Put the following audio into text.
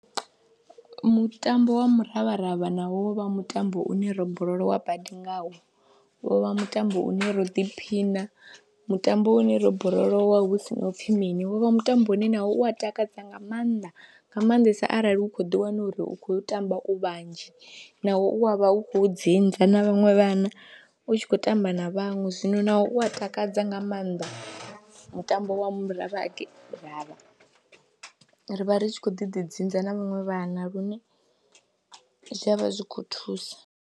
Mutambo wa muravharavha na wovha mutambo une ro borolowa badi ngawo wo vha mutambo une ro ḓiphina, mutambo une ro borolowa hu si na u pfhi mini, wo vha mutambo une nawo u wa takadza nga maanḓa nga maanḓesa arali u khou ḓiwana uri u khou tamba u vhanzhi nawo u wa vha u khou dzinza na vhaṅwe vhana u tshi khou tamba na vhanwe, zwino nawo u a takadza nga maanḓa mutambo wa muraravharavha ri vha ri tshi khou ḓi dzinza na vhaṅwe vhana lune zwi a vha zwi khou thusa.